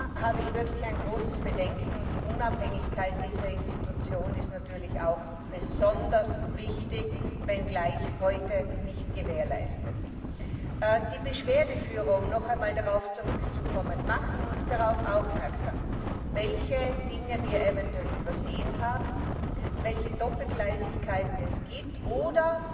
Da habe ich wirklich große Bedenken. Die Unabhängigkeit dieser Institution ist natürlich auch besonders wichtig, wenngleich heute nicht gewährleistet. Die Beschwerdeführer um noch einmal darauf zurückzukommen machen uns darauf aufmerksam, welche Dinge wir eventuell übersehen haben, welche Doppelgleisigkeiten es gibt oder